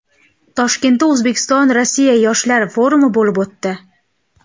Toshkentda O‘zbekiston Rossiya yoshlari forumi bo‘lib o‘tdi.